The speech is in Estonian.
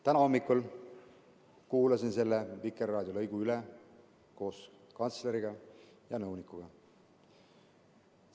Täna hommikul kuulasin koos kantsleri ja nõunikuga selle lõigu Vikerraadio saatest üle.